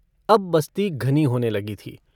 अब बस्ती घनी होने लगी थी।